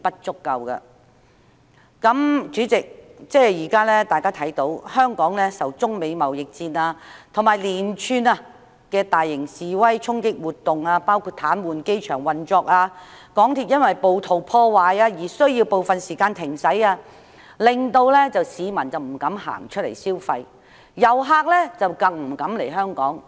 主席，香港現時受中美貿易戰及連串大型示威衝擊活動所影響，包括癱瘓機場運作、鐵路因為暴徒破壞而需部分時間停駛，以致市民不敢外出消費，遊客又不敢來港。